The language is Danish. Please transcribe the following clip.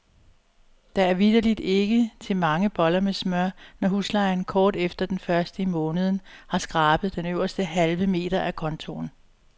Der er vitterligt ikke til mange boller med smør, når huslejen kort efter den første i måneden har skrabet den øverste halve meter af kontoen.